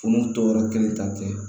Furu tɔ yɔrɔ kelen ta tɛ